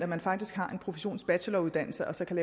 man faktisk har en professionsbacheloruddannelse og så kan